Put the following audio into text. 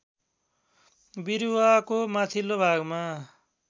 बिरुवाको माथिल्लो भागमा